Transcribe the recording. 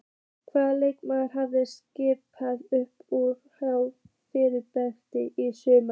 Hvaða leikmenn hafa staðið upp úr hjá Fjarðabyggð í sumar?